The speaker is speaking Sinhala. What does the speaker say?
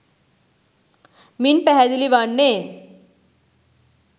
මින් පැහැදිලි වන්නේ